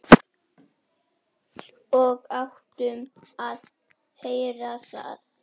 Og áttum að heyra það.